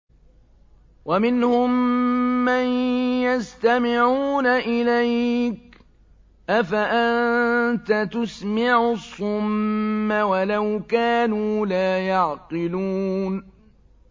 وَمِنْهُم مَّن يَسْتَمِعُونَ إِلَيْكَ ۚ أَفَأَنتَ تُسْمِعُ الصُّمَّ وَلَوْ كَانُوا لَا يَعْقِلُونَ